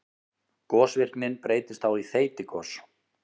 Gosvirknin breytist þá í þeytigos.